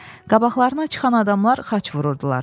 Qabaqlarına çıxan adamlar xaç vururdular.